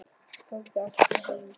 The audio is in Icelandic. Gangi þér allt í haginn, Sandel.